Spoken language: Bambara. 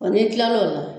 n'i kilal'o la